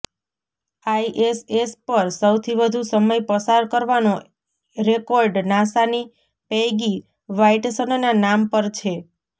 ISS પર સૌથી વધુ સમય પસાર કરવાનો રેકોર્ડ નાસાની પૈગી વાઈટસનના નામ પર છે